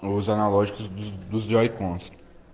ну зоологии друзей комнат